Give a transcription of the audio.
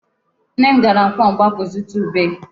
Nne m gara nkwọ Mgbakwụ zụta ube.